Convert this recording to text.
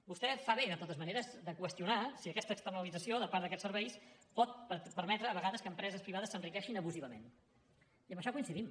vostè fa bé de totes maneres de qüestionar si aquesta externalització de part d’aquests serveis pot permetre a vegades que empreses privades s’enriqueixin abusivament i en això coincidim